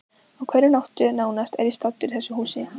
Á hverri nóttu nánast er ég staddur í þessu húsi.